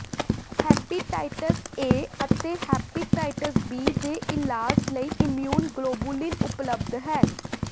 hepatitis A ਅਤੇ hepatitis B ਦੇ ਇਲਾਜ ਲਈ ਇਮਿਊਨ ਗਲੋਬੂਲਿਨ ਉਪਲਬਧ ਹੈ